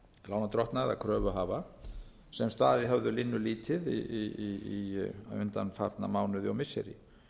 lánardrottna eða kröfuhafa sem staðið höfðu linnulítið í undanfarna mánuði og missiri